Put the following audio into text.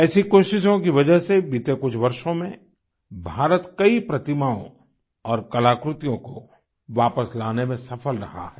ऐसी कोशिशों की वजह से बीते कुछ वर्षों में भारत कई प्रतिमाओं और कलाकृतियों को वापस लाने में सफल रहा है